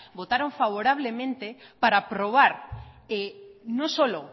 votaron favorablemente para aprobar no solo